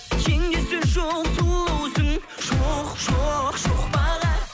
теңдесі жоқ сұлусың жоқ жоқ жоқ баға